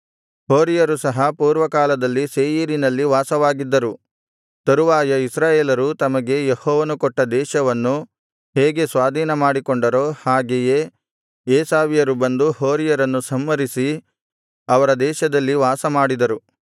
ಹೋರಿಯರು ಸಹ ಪೂರ್ವಕಾಲದಲ್ಲಿ ಸೇಯೀರಿನಲ್ಲಿ ವಾಸವಾಗಿದ್ದರು ತರುವಾಯ ಇಸ್ರಾಯೇಲರು ತಮಗೆ ಯೆಹೋವನು ಕೊಟ್ಟ ದೇಶವನ್ನು ಹೇಗೆ ಸ್ವಾಧೀನಮಾಡಿಕೊಂಡರೋ ಹಾಗೆಯೇ ಏಸಾವ್ಯರು ಬಂದು ಹೋರಿಯರನ್ನು ಸಂಹರಿಸಿ ಅವರ ದೇಶದಲ್ಲಿ ವಾಸಮಾಡಿದರು